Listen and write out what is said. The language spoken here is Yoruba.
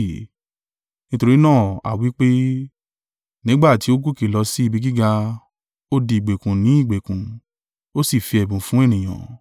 Nítorí náà a wí pé: “Nígbà tí ó gòkè lọ sí ibi gíga, ó di ìgbèkùn ni ìgbèkùn, ó sì fi ẹ̀bùn fun ènìyàn.”